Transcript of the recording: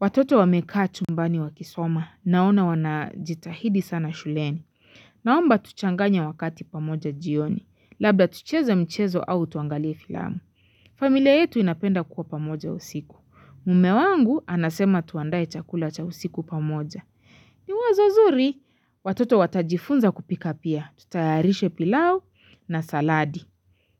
Watoto wamekaa chumbani wakisoma naona wanajitahidi sana shuleni. Naomba tuchanganya wakati pamoja jioni. Labda tucheza mchezo au tuangalie filamu. Familia yetu inapenda kuwa pamoja usiku. Mme wangu anasema tuandae chakula cha usiku pamoja. Ni wazo nzuri, watoto watajifunza kupika pia. Tutayarishe pilau na saladi.